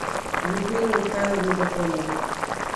людмилы михайловны гапоновой